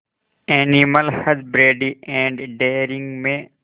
animal husbandry and dairying में